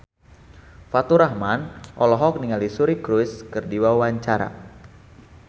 Faturrahman olohok ningali Suri Cruise keur diwawancara